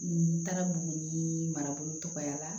N taara buguni marabolo tɔgɔya